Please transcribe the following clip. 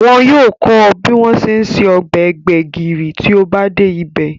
Wọn yóò kọ́ ọ bí wọ́n ṣe ń se ọbẹ̀ gbẹ̀gìrì tí ó bá dé ibẹ̀